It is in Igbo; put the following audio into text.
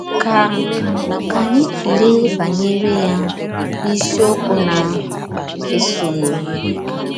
Ka Ka anyị tụlee banyere ya n’isiokwu na - esonụ.